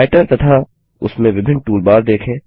writer तथा उसमें विभिन्न टूलबार देखे